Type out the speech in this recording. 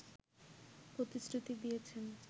প্রতিশ্রুতি দিয়েছেন